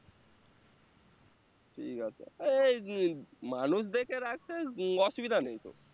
ঠিক আছে মানুষ দেখে উম অসুবিধা নেই তো